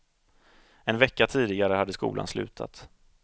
En vecka tidigare hade skolan slutat.